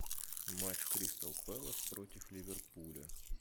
матч кристал пэлас против ливерпуля